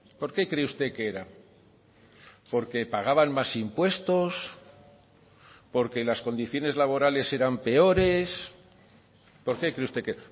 por qué cree usted que era porque pagaban más impuestos porque las condiciones laborales eran peores por qué cree usted que